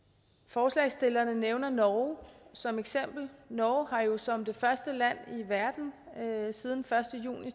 forslagsstillerne nævner norge som eksempel norge har jo som det første land i verden siden første juni